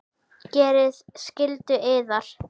Gerið skyldu yðar!